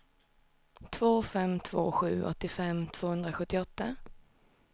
två fem två sju åttiofem tvåhundrasjuttioåtta